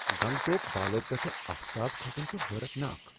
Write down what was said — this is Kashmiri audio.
گنگٹوک بالو پیٹھۍ آفتاب کھسن چھُ حیرتناک۔